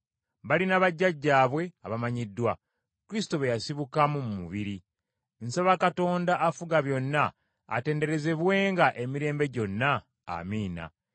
Balina bajjajjaabwe abamanyiddwa, Kristo be yasibukamu mu mubiri. Nsaba Katonda afuga byonna atenderezebwenga emirembe gyonna, Amiina.